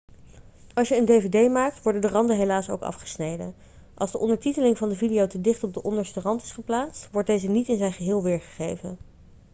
als je een dvd maakt worden de randen helaas ook afgesneden als de ondertiteling van de video te dicht op de onderste rand is geplaatst wordt deze niet in zijn geheel weergegeven